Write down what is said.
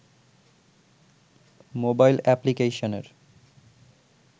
mobile অ্যাপ্লিকেশনের